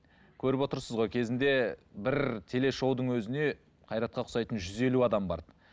көріп отырсыз ғой кезінде бір телешоудың өзіне қайратқа ұқсайтын жүз елу адам барды